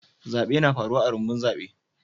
Zabe na faruwa a'rumbun zabe.